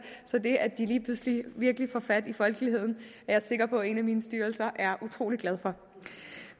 så det at de lige pludselig virkelig får fat i folkeligheden jeg sikker på at en af mine styrelser er utrolig glad for